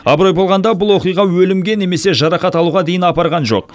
абырой болғанда бұл оқиға өлімге немесе жарақат алуға дейін апарған жоқ